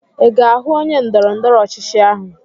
I ga-ahụ onye ndọrọ ndọrọ ọchịchị ahụ?